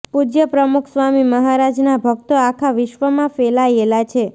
પૂજય પ્રમુખ સ્વામી મહારાજના ભક્તો આખા વિશ્વમાં ફેલાયેલા છે